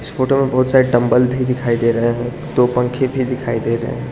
Photo में बहोत सारे डंबल भी दिखाई दे रहे हैं दो पंखे भी दिखाई दे रहे हैं।